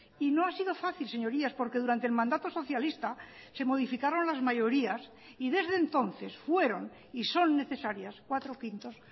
y no ha sido fácil señorías porque durante el mandato socialista se modificaron las mayorías y desde entonces fueron y son necesarias cuatro quintos